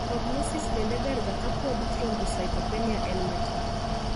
Prognosis bende ber ga kapod thrombocytopenia en matin